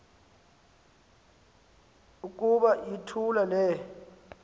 uku yithula le